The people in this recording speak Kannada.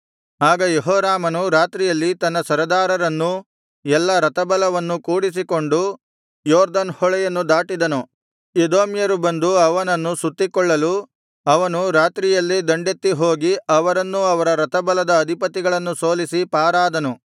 ಆಗ ಯೆಹೋರಾಮನು ರಾತ್ರಿಯಲ್ಲಿ ತನ್ನ ಸರದಾರರನ್ನೂ ಎಲ್ಲಾ ರಥಬಲವನ್ನೂ ಕೂಡಿಸಿಕೊಂಡು ಯೊರ್ದನ್ ಹೊಳೆಯನ್ನು ದಾಟಿದನುಎದೋಮ್ಯರು ಬಂದು ಅವನನ್ನು ಸುತ್ತಿಕೊಳ್ಳಲು ಅವನು ರಾತ್ರಿಯಲ್ಲೇ ದಂಡೆತ್ತಿ ಹೋಗಿ ಅವರನ್ನೂ ಅವರ ರಥಬಲದ ಅಧಿಪತಿಗಳನ್ನೂ ಸೋಲಿಸಿ ಪಾರಾದನು